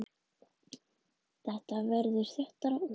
Þetta verður þéttara og þéttara.